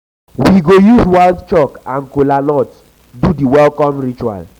we go use white chalk and kola nut do di welcome ritual.